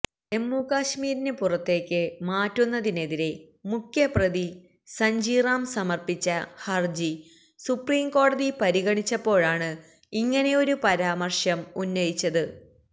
ജമ്മു കാശ്മീരിന് പുറത്തേക്ക് മാറ്റുന്നതിനെതിരെ മുഖ്യപ്രതി സഞ്ജി റാം സമര്പ്പിച്ച ഹര്ജി സുപ്രീം കോടതി പരിഗണിച്ചപ്പോഴാണ് ഇങ്ങനെയാരു പരാമര്ശം ഉന്നയിച്ചത്